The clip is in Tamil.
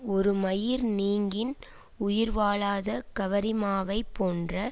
ஒரு மயிர் நீங்கின் உயிர்வாழாத கவரிமாவைப் போன்ற